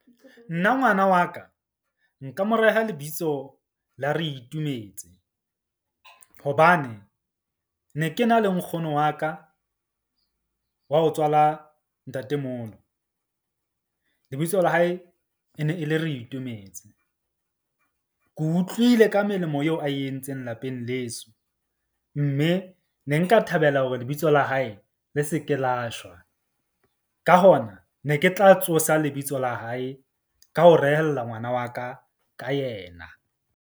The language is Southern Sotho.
Nna ngwana wa ka nka mo reha lebitso la Reitumetse, hobane ne ke na le nkgono wa ka wa ho tswala ntatemoholo lebitso la hae e ne e le Reitumetse. Ke utlwile ka melemo eo a e entseng lapeng leso. Mme ne nka thabela hore lebitso la hae le se ke la shwa, ka hona ne ke tla tsosa lebitso la hae ka ho rehella ngwana wa ka ka yena.